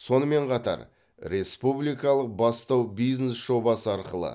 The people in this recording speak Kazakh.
сонымен қатар республикалық бастау бизнес жобасы арқылы